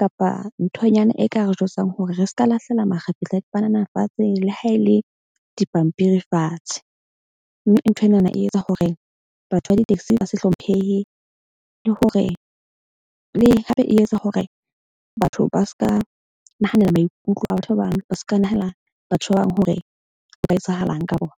kapa nthonyana e ka re jwetsang hore re ska lahlela makgapetla a panana fatshe le ha e le dipampiri fatshe. Mme nthwenana e etsa hore batho ba di-taxi ba se hlomphehe, le hore le hape e etsa hore batho ba seka nahanela maikutlo a batho ba bang ba ska. Nahana batho ba bang hore ho etsahalang ka bona.